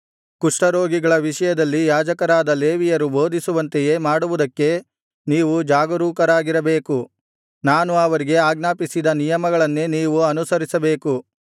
ಕುಷ್ಠರೋಗಿಗಳ ವಿಷಯದಲ್ಲಿ ಯಾಜಕರಾದ ಲೇವಿಯರು ಬೋಧಿಸುವಂತೆಯೇ ಮಾಡುವುದಕ್ಕೆ ನೀವು ಜಾಗರೂಕರಾಗಿರಬೇಕು ನಾನು ಅವರಿಗೆ ಆಜ್ಞಾಪಿಸಿದ ನಿಯಮಗಳನ್ನೇ ನೀವು ಅನುಸರಿಸಬೇಕು